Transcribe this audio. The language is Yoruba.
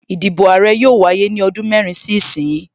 Ìdìbò Àrẹ yóò wáyé ní ọdún mẹ́rin sí ìsin yìí